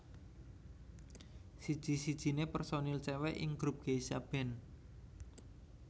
Siji sijine personil cewek ing grup Geisha band